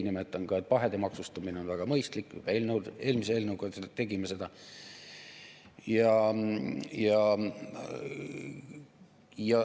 Nimetan ka, et pahede maksustamine on väga mõistlik, eelmise eelnõuga tegime seda.